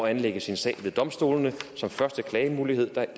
anlægge sin sag ved domstolene som første klagemulighed